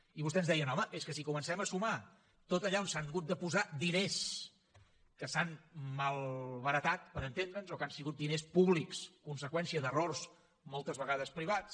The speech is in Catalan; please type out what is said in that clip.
i vostè ens deia home és que si comencem a sumar tot allà on s’han hagut de posar diners que s’han malbaratat per entendre’ns o que han sigut diners públics conseqüència d’errors moltes vegades privats